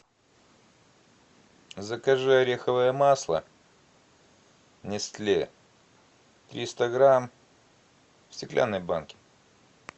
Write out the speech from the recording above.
закажи ореховое масло нестле триста грамм в стеклянной банке